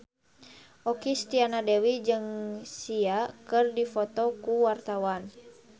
Okky Setiana Dewi jeung Sia keur dipoto ku wartawan